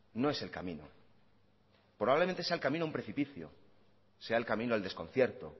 no es el camino probablemente sea el camino a un precipicio sea el camino al desconcierto